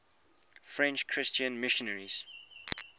french christian missionaries